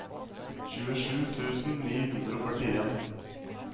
tjuesju tusen ni hundre og førtien